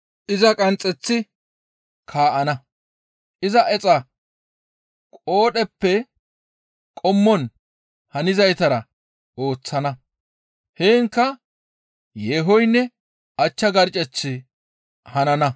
iza qanxxeththi kaa7ana; iza exa qoodheppe qommon hanizaytara ooththana. Heenkka yeehoynne achcha garccechchi hanana.